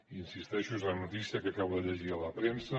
hi insisteixo és una notícia que acabo de llegir a la premsa